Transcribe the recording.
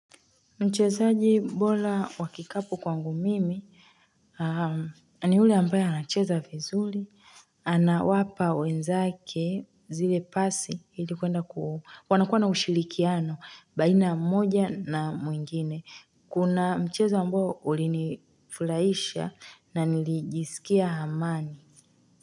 Mchezaji bora wa kikapu kwangu mimi ni yule ambaye anacheza vizuri, anawapa wenzake zile pasi ili kwenda wanakuwa na ushirikiano baina ya mmoja na mwingine. Kuna mchezo ambao ulinifurahisha na nilijisikia amani.